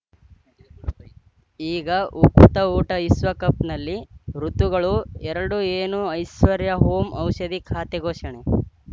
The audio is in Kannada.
ಈಗ ಉಕುತ ಊಟ ವಿಶ್ವಕಪ್‌ನಲ್ಲಿ ಋತುಗಳು ಎರಡು ಏನು ಐಶ್ವರ್ಯಾ ಓಂ ಔಷಧಿ ಖಾತೆ ಘೋಷಣೆ